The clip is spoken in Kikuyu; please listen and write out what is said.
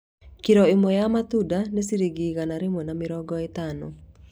Kiro ĩmwe ya matunda nĩ ciringi igana rĩmwe rĩa mĩrongo ĩtano